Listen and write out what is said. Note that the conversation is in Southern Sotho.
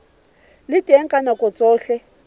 le teng ka nako tsohle